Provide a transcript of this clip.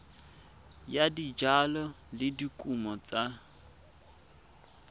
ya dijalo le dikumo tsa